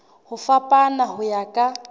ho fapana ho ya ka